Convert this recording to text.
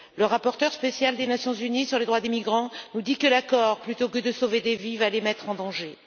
Le rapporteur spécial des Nations unies sur les droits des migrants nous dit que l'accord, plutôt que de sauver des vies, va les mettre en danger.